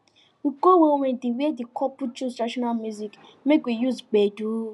we go one wedding where the couple choose traditional music make we use gbedu